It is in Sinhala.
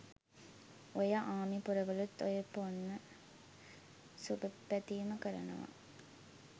ඔය ආමි පොරවලුත් ඔය පොන්න සුබ පැතීම කරනවා